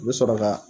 U bɛ sɔrɔ ka